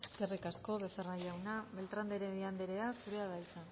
eskerrik asko becerra jauna beltrán de heredia anderea zurea da hitza